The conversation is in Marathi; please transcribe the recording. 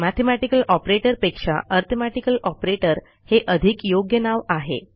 मॅथेमॅटिकल ऑपरेटर पेक्षा अरिथमेटिकल ऑपरेटर हे अधिक योग्य नाव आहे